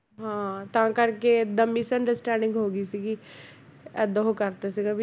ਹਾਂ ਤਾਂ ਕਰਕੇ ਇੱਦਾਂ misunderstanding ਹੋ ਗਈ ਸੀਗੀ ਇੱਦਾਂ ਉਹ ਕਰਤਾ ਸੀਗਾ